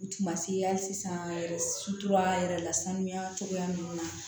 U tun ma se hali sisan dutura yɛrɛ la sanuya cogoya ninnu na